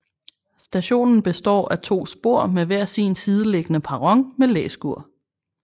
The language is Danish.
Stationen består af to spor med hver sin sideliggende perron med læskur